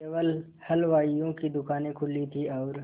केवल हलवाइयों की दूकानें खुली थी और